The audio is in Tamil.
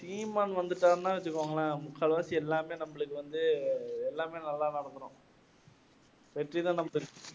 சீமான் வந்துட்டார்னா வெச்சுகோங்களேன் முக்கால்வாசி எல்லாமே நம்மளுக்கு வந்து எல்லாமே நல்லா நடந்திடும் வெற்றி தான்